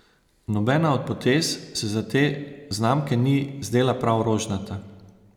Nobena od potez se za te znamke ni zdela prav rožnata.